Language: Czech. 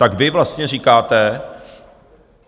Tak vy vlastně říkáte...